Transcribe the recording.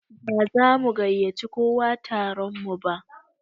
Ba za mu gaiyaci kowa taron mu ba